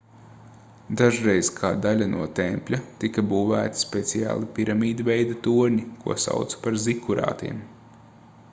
dažreiz kā daļa no tempļa tika būvēti speciāli piramīdveida torņi ko sauca par zikurātiem